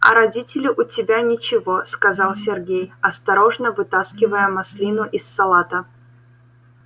а родители у тебя ничего сказал сергей осторожно вытаскивая маслину из салата